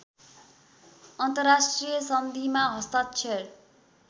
अन्तर्राष्ट्रिय सन्धिमा हस्ताक्षर